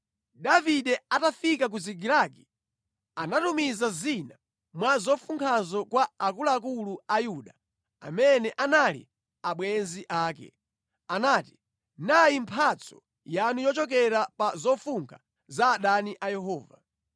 Davide atafika ku Zikilagi, anatumiza zina mwa zofunkhazo kwa akuluakulu a Yuda, amene anali abwenzi ake. Anati, “Nayi mphatso yanu yochokera pa zofunkha za adani a Yehova.”